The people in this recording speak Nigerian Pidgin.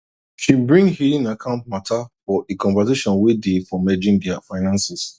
she bring hidden account matter for a conversation way day for merging their finances